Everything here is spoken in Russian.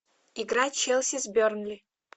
игра челси с бернли